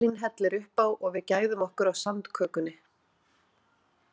Elín hellir upp á og við gæðum okkur á sandkökunni.